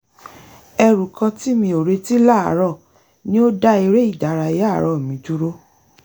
ẹrù kan tí mi ò retí láàárọ̀ ni ó dá eré-ìdárayá àárọ̀ mi dúró